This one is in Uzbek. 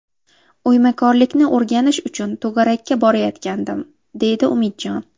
O‘ymakorlikni o‘rganish uchun to‘garakka borayotgandim, – deydi Umidjon.